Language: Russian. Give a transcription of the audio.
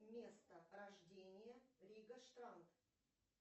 место рождения рига штант